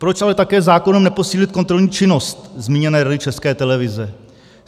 Proč ale také zákonem neposílit kontrolní činnost zmíněné Rady České televize?